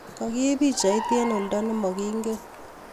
Kagiib pichaiit eng' oldo nemegiingen